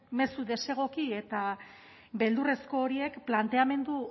mezu desegoki eta beldurrezko horiek planteamendu